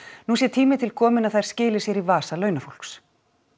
nú sé tími til kominn að þær skili sér í vasa launafólks